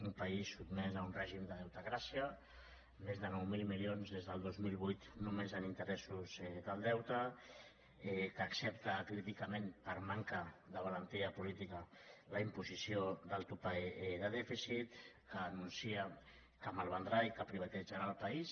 un país sotmès a un règim de deutecràcia amb més de nou mil milions des del dos mil vuit només en interessos del deute que accepta acríticament per manca de valentia política la imposició del topall de dèficit que anuncia que malvendrà i que privatitzarà el país